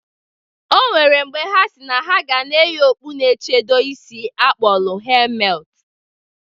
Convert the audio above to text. O nwere mgbe ha si na ha ga na eyi okpu na-echedo isi akpọlụ hemet.